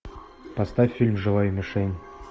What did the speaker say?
поставь фильм живая мишень